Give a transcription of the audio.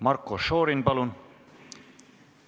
Marko Šorin, palun!